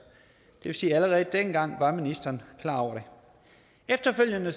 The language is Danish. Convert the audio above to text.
det vil sige at allerede dengang var ministeren klar over det efterfølgende